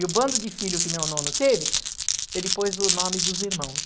E o bando de filho que meu nono teve, ele pôs o nome dos irmãos.